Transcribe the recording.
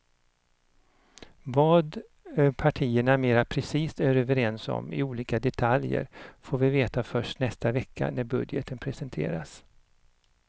Vad partierna mera precist är överens om i olika detaljer får vi veta först nästa vecka när budgeten presenteras.